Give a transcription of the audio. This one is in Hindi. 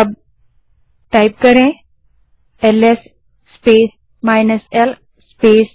अब एलएस स्पेस l स्पेस